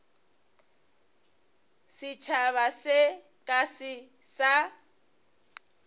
setšhaba se ka se sa